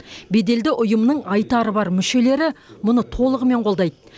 беделді ұйымның айтары бар мүшелері мұны толығымен қолдайды